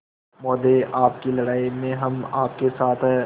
महोदय आपकी लड़ाई में हम आपके साथ हैं